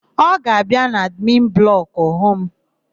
Ọ ga-abịa n'admin blọkụ hụ mụ?